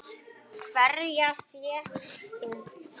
Hverja fékkst þú?